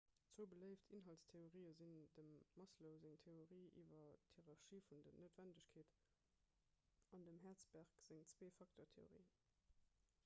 zwou beléift inhaltstheorië sinn dem maslow seng theorie iwwer d'hierarchie vun den noutwennegkeeten an dem hertzberg seng zwee-facteur-theorie